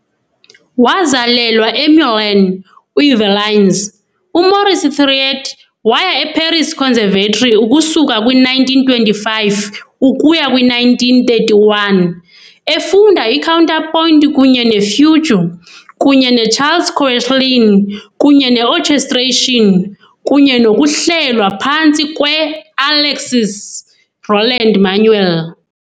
Wazalelwa eMeulan, uYvelines, uMaurice Thiriet waya eParis Conservatory ukusuka kwi-1925 ukuya kwi-1931, efunda i-counterpoint kunye ne-fugue kunye noCharles Koechlin, kunye ne-orchestration kunye nokuhlelwa phantsi kwe-Alexis Roland-Manuel.